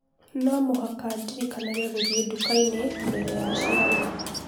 Olly, no mũhaka ndĩrikanage gũthiĩ nduka-inĩ mbere ya ciarwo.